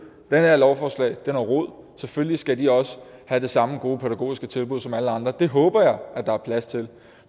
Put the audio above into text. det her lovforslag er noget rod selvfølgelig skal de også have det samme gode pædagogiske tilbud som alle andre det håber jeg at der er plads til